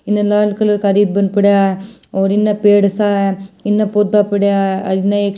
इन लाल कलर का रिब्बीन पडया और एन पैड स एन पोधा पडया एन एक--